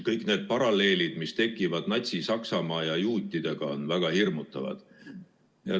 Kõik need paralleelid, mis tekivad Natsi-Saksamaa ja juutidega, on väga hirmutavad.